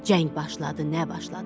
Cəng başladı nə başladı.